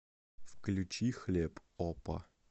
включи хлеб опа